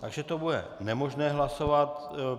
Takže to bude nemožné hlasovat.